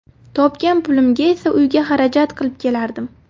Topgan pulimga esa uyga xarajat qilib kelardim.